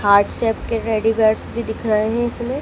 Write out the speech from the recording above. heart shape के teddy bears भी दिख रहे है इसमें--